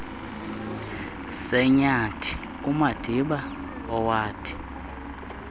senyathi umadiba owathi